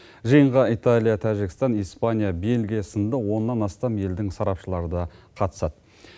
жиынға италия тәжікстан испания бельгия сынды оннан астам елдің сарапшылары да қатысады